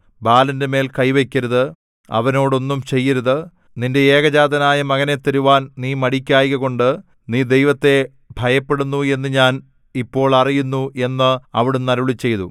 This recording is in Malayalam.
ബാലന്റെമേൽ കൈവയ്ക്കരുത് അവനോട് ഒന്നും ചെയ്യരുത് നിന്റെ ഏകജാതനായ മകനെ തരുവാൻ നീ മടിക്കായ്കകൊണ്ട് നീ ദൈവത്തെ ഭയപ്പെടുന്നു എന്ന് ഞാൻ ഇപ്പോൾ അറിയുന്നു എന്ന് അവിടുന്ന് അരുളിച്ചെയ്തു